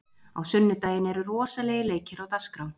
Á sunnudaginn eru rosalegir leikir á dagskrá.